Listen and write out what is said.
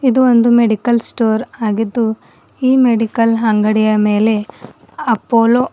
ಇದು ಒಂದು medical store ಆಗಿದ್ದು ಈ ಮೆಡಿಕಲ್ ಅಂಗಡಿಯ ಮೇಲೆ ಅಪೋಲೋ --